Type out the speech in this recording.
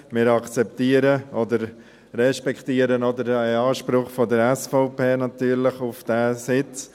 Wir akzeptieren oder respektieren natürlich auch den Anspruch der SVP auf diesen Sitz.